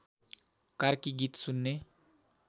कार्की गीत सुन्ने